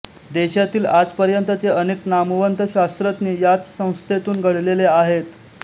देशातील आजपर्यंतचे अनेक नामवंत शास्त्रज्ञ याच संस्थेतून घडलेले आहेत